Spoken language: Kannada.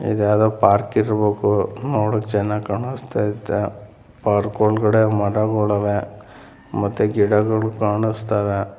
ಇದು ಯಾವುದೋ ಪಾರ್ಕ್‌ ಇರಬಹುದು ನೋಡೋಕೆ ಚೆನ್ನಾಗಿ ಕಾಣಿಸ್ತಾ ಇದೆ. ಪಾರ್ಕ್‌ ಒಳಗೆ ಮರಗಳಿವೆ ಮತ್ತು ಗಿಡಗಳು ಕಾಣಿಸ್ತಾ ಇವೆ.